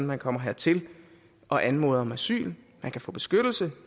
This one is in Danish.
man kommer hertil og anmoder om asyl få beskyttelse